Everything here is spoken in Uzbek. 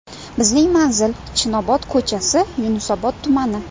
Bizning manzil: Chinobod ko‘chasi, Yunusobod tumani.